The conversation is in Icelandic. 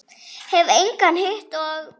Hef engan hitt og.